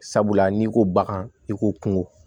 Sabula n'i ko bagan i ko kungo